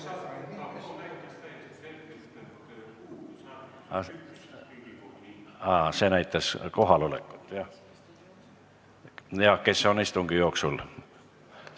Aa, tabloo näitas ka kohalolekut ja kes on istungi jooksul ...